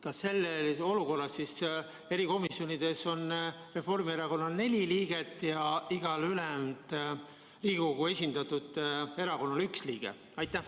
Kas siis selles olukorras oleks erikomisjonides Reformierakonnal neli liiget ja igal ülejäänud Riigikogus esindatud erakonnal üks liige?